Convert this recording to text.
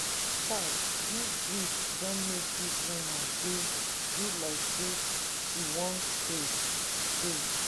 chai dis grief don make dis woman dey do like sey she wan craze. craze.